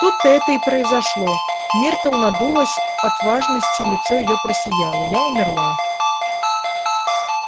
тут-то это и произошло миртл надулась от важности лицо её просияло я умерла